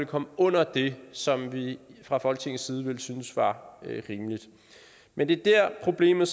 komme under det som vi fra folketingets side ville synes var rimeligt men det er der problemet